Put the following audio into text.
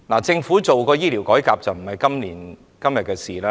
政府推行醫療改革，並非今天的事情。